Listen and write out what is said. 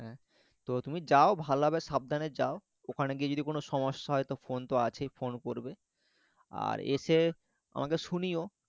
হ্যাঁ হ্যাঁ হ্যাঁ তো তুমি যাও ভালভাবে সাবধানে যাও ওখানে গিয়ে যদি কোনও সমস্যা হয় তো phone তো আছেই phone করবে আর এসে আমাকে শুনিও